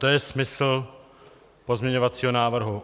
To je smysl pozměňovacího návrhu.